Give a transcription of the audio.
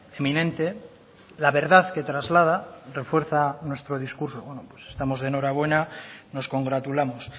eminente la verdad que traslada refuerza nuestro discurso bueno estamos de enhorabuena nos congratulamos